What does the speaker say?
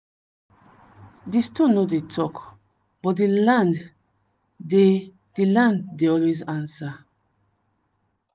di stone no dey talk but di land dey di land dey always answer.